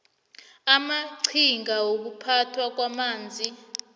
amaqhinga wokuphathwa kwamanzi